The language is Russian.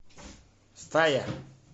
стая